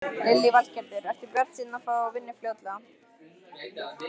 Lillý Valgerður: Ertu bjartsýnn á að fá vinnu fljótlega?